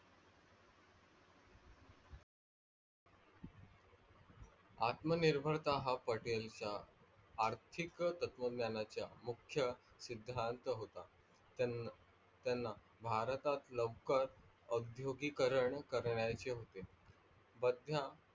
आत्मनिर्भरता हा पटेलचा आर्थिक तत्व ज्ञाचा मुख्य सिद्धांत होता. त्यांना भारतात लवकर औधोगिकरण करण्याचे होते. व त्या